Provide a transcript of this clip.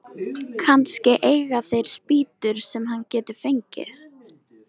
Kannski eiga þeir spýtur sem hann getur fengið.